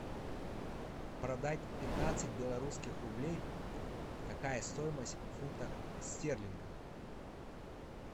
продать пятнадцать белорусских рублей какая стоимость в фунтах стерлингов